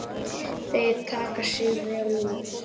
Þeir taka sig vel út.